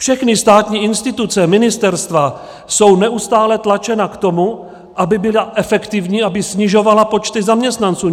Všechny státní instituce, ministerstva jsou neustále tlačeny k tomu, aby byly efektivní, aby snižovaly počty zaměstnanců.